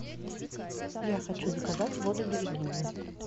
я хочу заказать воду берегиня